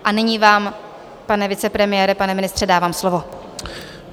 A nyní vám, pane vicepremiére, pane ministře, dávám slovo.